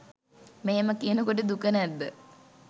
මෙහෙම කියනකොට දුක නැද්ද?